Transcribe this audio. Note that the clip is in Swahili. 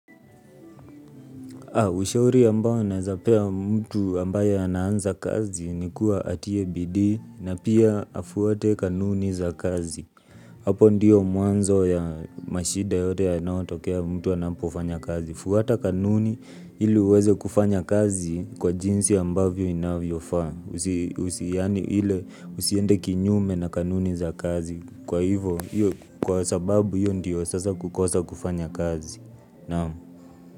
Ushauri ambao nawezapea mtu ambaye anaanza kazi ni kuwa atie bidii na pia afuaate kanuni za kazi. Hapo ndiyo mwanzo ya mashida yote yanayotokea mtu anapofanya kazi. Fuata kanuni ili uweze kufanya kazi kwa jinsi ambavyo inavyofaa. Usiende kinyume na kanuni za kazi. Kwa hivo, kwa sababu hiyo ndiyo sasa kukosa kufanya kazi. Naam?